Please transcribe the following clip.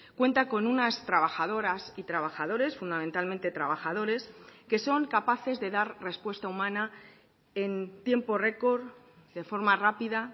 cuenta con unas trabajadoras y trabajadores fundamentalmente trabajadores que son capaces de dar respuesta humana en tiempo récord de forma rápida